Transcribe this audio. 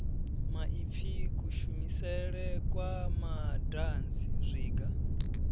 maipfi kushumisele kwa madanzi zwiga